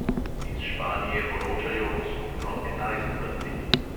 Iz španije poročajo o skupno enajst mrtvih.